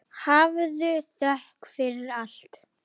hafðu þökk fyrir allt.